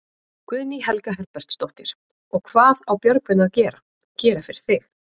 Guðný Helga Herbertsdóttir: Og hvað á Björgvin að gera, gera fyrir þig?